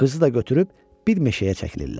Qızı da götürüb bir meşəyə çəkilirlər.